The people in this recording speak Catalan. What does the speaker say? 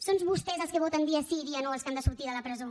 son vostès els que voten dia sí i dia no els que han de sortir de la presó